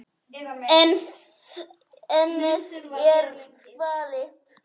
Ennið er þvalt.